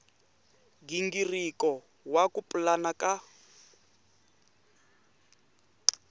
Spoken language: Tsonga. nghingiriko wa ku pulana ka